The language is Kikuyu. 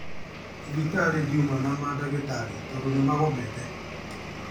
Thibitarĩ ndiuma na madagĩtarĩ tondu nimagomete